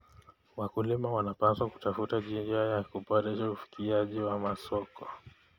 Wakulima wanapaswa kutafuta njia za kuboresha ufikiaji wa masoko.